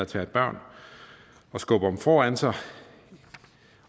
tager børn og skubber dem foran sig